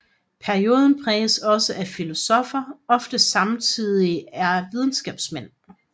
Perioden præges også af at filosoffer ofte samtidigt er videnskabsmænd